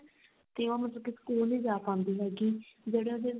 ਤੇ ਉਹ ਮਤਲਬ ਕੀ ਸਕੂਲ ਨੀ ਜਾ ਪਾਂਦੀ ਹੈਗੀ ਜਿਹੜੇ ਉਹਦੇ